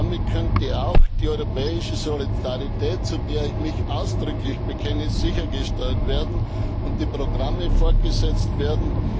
Damit könnten auch die europäische Solidarität, zu der ich mich ausdrücklich bekenne, sichergestellt und die Programme fortgesetzt werden.